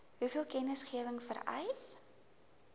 hoeveel kennisgewing vereis